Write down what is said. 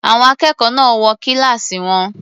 Àwọn akẹ́kọ̀ọ́ náà wọ kíláàsì wọn.